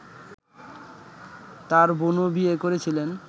তাঁর বোনও বিয়ে করেছিলেন